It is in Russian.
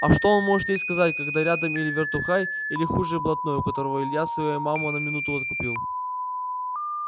а что он может ей сказать когда рядом или вертухай или хуже блатной у которого илья свою маму на минуту откупил